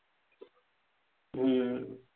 हम्म